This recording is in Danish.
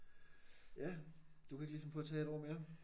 Ja du kunne ikke lige finde på at tage et år mere?